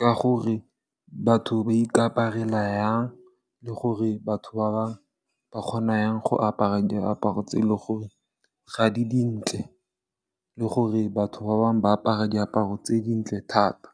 ka gore batho ba ikaparela yang le gore batho ba bang ba kgona yang go apara diaparo tse e le gore ga di dintle le gore batho ba bangwe ba apara diaparo tse dintle thata.